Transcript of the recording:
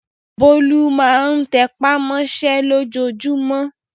Bólú máa tẹ́pá mọ́ṣẹ́ lójoojúmọ́.